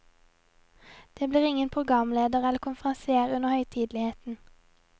Det blir ingen programleder eller konferansier under høytideligheten.